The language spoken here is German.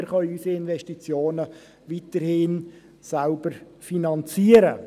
Wir können unserer Investitionen also weiterhin selber finanzieren.